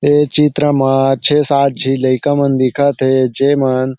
ऐ चित्र म छे सात झे लइका मन दिखत हे। जेमन--